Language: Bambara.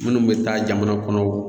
Minnu bɛ taa jamana kɔnɔ